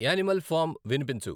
animal farm వినిపించు